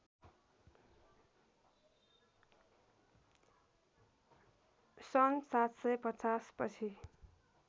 सन् ७५० पछि